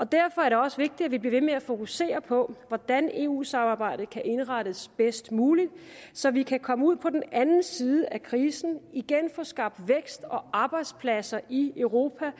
derfor er det også vigtigt at vi bliver ved med at fokusere på hvordan eu samarbejdet kan indrettes bedst muligt så vi kan komme ud på den anden side af krisen og igen få skabt vækst og arbejdspladser i europa